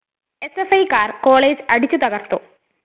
എസ്എഫ്‌ഐക്കാര്‍ college അടിച്ചു തകര്‍ത്തു